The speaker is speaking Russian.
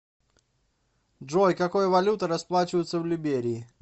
джой какой валютой расплачиваются в либерии